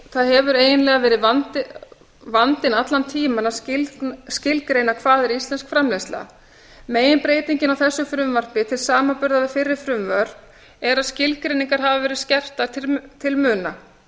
það hefur eiginlega verið vandinn allan tímann að skilgreina hvað er íslensk framleiðsla meginbreytingin á þessu frumvarpi til samanburðar við fyrri frumvörp er að skilgreiningar hafa verið skerptar til muna